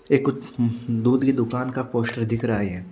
ये कुछ दूध की दुकान का पोस्टर दिख रहा है ये।